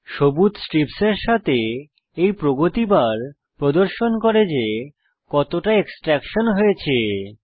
সবুজ স্ট্রিপের সাথে এই প্রগতি বার প্রদর্শন করে যে কতটা এক্সট্র্যাকশন হয়েছে